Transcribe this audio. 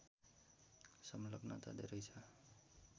संलग्नता धेरै छ